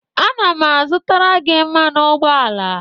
ana m azụtara gị mmanụ ụgbọala